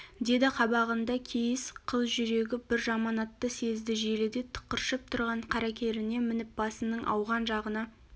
деді қабағында кейіс қыз жүрегі бір жаманатты сезді желіде тықыршып тұрған қаракеріне мініп басының ауған жағына